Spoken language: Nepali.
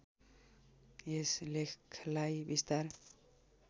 यस लेखलाई विस्तार